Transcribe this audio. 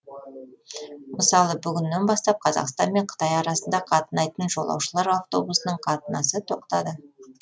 мысалы бүгіннен бастап қазақстан мен қытай арасында қатынайтын жолаушылар автобусының қатынасы тоқтады